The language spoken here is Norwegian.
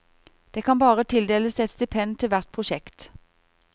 Det kan bare tildeles ett stipend til hvert prosjekt.